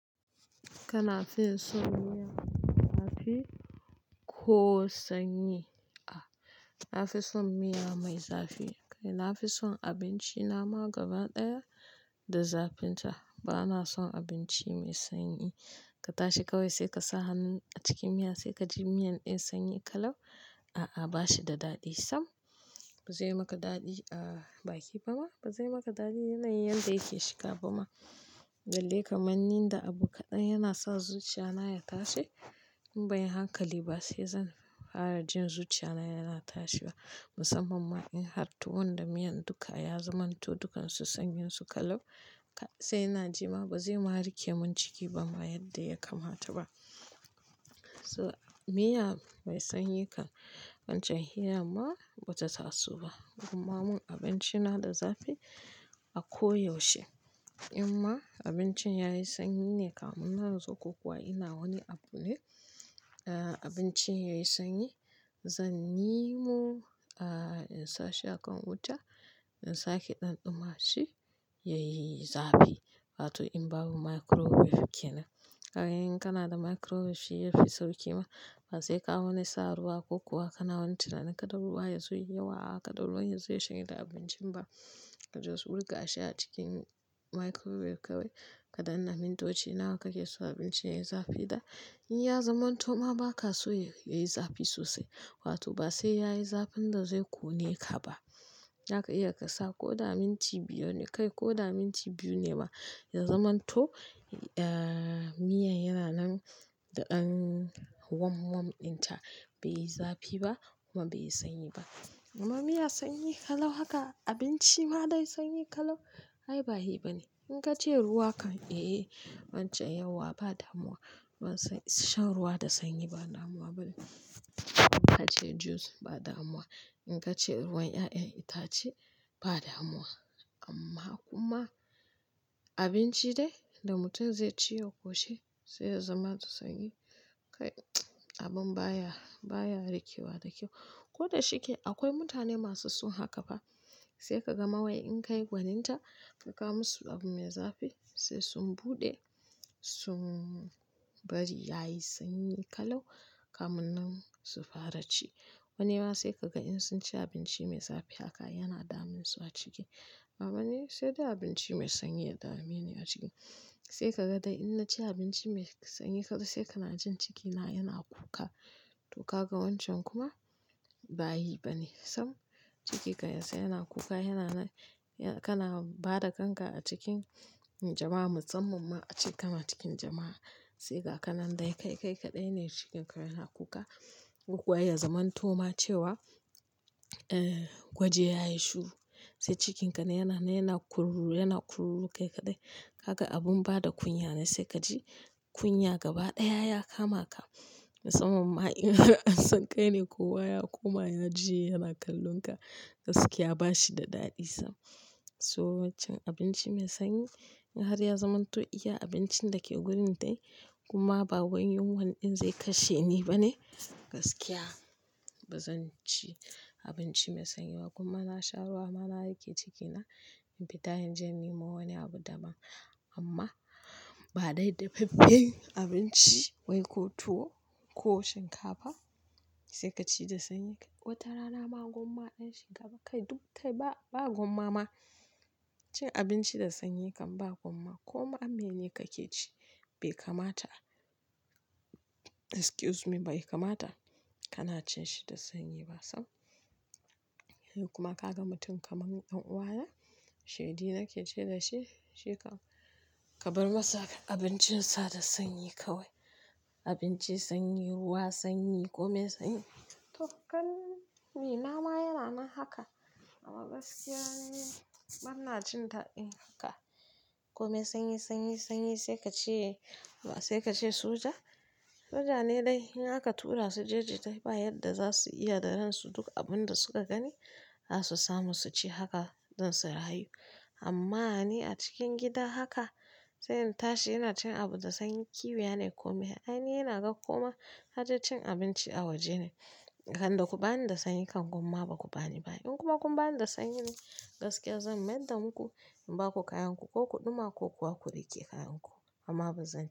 Kana fin son miya zafi ko sanyi? A'a, na fi son miya mai zafi. Kai, na fi son abinci nama gaba ɗaya da zafin ta. Ba na son abinci mai sanyi. Ka tashi kawai sai ka sa hannun a cikin miya sai ka ji miyan ɗin sanyi ƙalau. A a bashi da daɗi sam. Ba zai maka daɗi a baki ba ma. Ba zai maka daɗi yana yin yadda yake shiga ba ma. Kai, na fi son abinci nama gaba ɗaya da zafin ta. Ba na son abinci mai sanyi. Ka tashi kawai sai ka sa hannun a cikin miya sai ka ji miyan ɗin sanyi ƙalau. In banyi hankali ba sai zan fara jin zuciyana yana tashi. Musamman ma in har tuwon da miyan dukka ya zamanto dukkan su sanyin su ƙalau kai sai ina ji ma bazai ma riƙe min ciki ba ma yanda ya kamata ba So miya mai sanyi kan wancan hira ma ba ta taso ba. Kuma mun abinci na da zafi a ko yaushe. In ma abincin yayi sanyi ne kamun na natsu ko kuwa ina wani abu ne. Eh abincin yayi sanyi zan yi mo a in sa shi a kan wuta in sake ɗanɗuma shi yayi zafi. Wato in babu microwave ke nan. Kaga idan kana da microwave shi yafi sauƙi ma. Ba sai ka wani sa ruwa ko kuwa kana wani tunanin kada ruwa ya zo yayi yawa kada ruwan ya zo ya shanye da abincin ba. Ka just su buga shi a cikin microwave kawai kaɗanna mintoci nawa kake so abinci yayi zafi da. In ya zamanto ma ba ka so yayi zafi sosai. Wato ba sai yayi zafin da zai ƙone ka ba. Zaka iya ka sa ko da minti biyar ne kai ko da minti biyu ne ma ya zamanto eh miyan yana nan da ɗab wamwam ɗin ta bai yi zafi ba kuma bai yi sanyi ba. Amma miya sanyi kalau haka abinci ma dai sanyi kalau? Ai ba yi bane. In kace ruwa kam wancan yauwa ba damuwa kam. Ban san shan ruwa da sanyi ba na damuwa bane. In ka ce juice ba damuwa. In ka ce ruwan ƴaƴen itace ba damuwa. Amma kuma abinci dai da mutum zai ci ya ƙoshi sai ya zama da sanyi. Kai abun baya, baya rikewa da ƙyau. Ko da shike akwai mutane masu son haka fa. Sai ka ga mawai in kai gwanin ta ka kawo musu abu mai zafi sai sun buɗe sun bari yayi sanyi kalau kamun nan su fara ci. Wani ma sai ka ga in sun ci abinci mai zafi haka yana damun su a ciki. A wani sai dai abinci mai sanyi ya dame ni a ciki. Sai ka ga dai in na ci abinci mai sanyi kadai sai kana jin cikina yana kuka. To ka ga wancan kuma ba yi bane sam. Cikinka ya tsaya yana kuka yana nan, kana bada kanka acikin jama'a musamman ace kana cikin jama'a sai gaka nan dai kai kai kaɗai ne cikinka yana kuka. Ko kuwa ya zamanto ma cewa gwaji yayi shiru. Sai cikinka ne yana na yana kururu yana kururu kai kaɗai. Haka abun bada kunya ne sai kaji kunya gaba ɗaya ya kama ka. Musamman ma in an san kai ne kowa ya koma ya juya yana kallon ka. Gaskiya ba shi da daɗi sam. So wancan abinci mai sanyi in har ya zamanto iya abincin da ke gurin dai kuma ba wani yunwan ɗin zai kashe ni bane gaskiya ba zan ci abinci mai sanyi ba. Kuma na sha ruwa ma na riƙe cikina in fita inje in nemo wani abu da ban. Amma ba dai dafaffen abinci wai ko tuwo ko shinkafa sai ka ci da sanyi kai. Wata rana ma gwamma ɗin shinkafa kai duk kai ba, ba gwamma ma. Cin abinci da sanyi kam ba gwamma. Koma mene kake ci bai kamata. Excuse me bai kamata kana cin shi da sanyi ba sam. Kuma ka ga mutum kamar ɗan uwa na shidi nake ce da shi shi kam, ka bar masa abincin sa da sanyi kawai. Abinci sanyi, ruwa sanyi kome sanyi. To kann ni nama yana nan haka amma gaskiya ni bana jin dadin haka. Kome sanyi, sanyi, sanyi sai ka ce ba sai ka ce soja. Soja ne dai in aka tura su jeji dai ba yadda za su iya da ransu duk abun da suka gani za su samu su ci haka don su rayu. Amma ni a cikin gida haka sai in tashi ina cin abu da sanyi kiwiya ne kome. Ai ni yana ga koma har da cin abinci a waje ne. Dan da ku bani da sanyi kam gwamma ba ku bani ba. In kuma kun bani da sanyi ne gaskiya zan mai da muku in ba ku kayanku ko ku ɗuma ko kuwa ku riƙe kayanku amma ba zan ci.